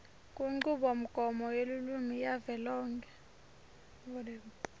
kunchubomgomo yelulwimi yavelonkhe